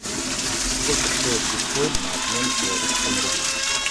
сколько стоит биткоин на обмен к белорусскому рублю